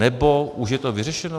Nebo už je to vyřešeno?